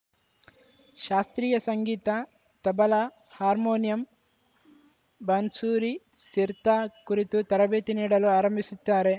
ಶಾಸ್ತ್ರೀಯ ಸಂಗೀತ ತಬಲಾ ಹಾರ್ಮೋನಿಯಂ ಬಾನ್ಸೂರಿ ಸಿರ್ತಾ ಕುರಿತು ತರಬೇತಿ ನೀಡಲು ಆರಂಭಿಸುತ್ತಾರೆ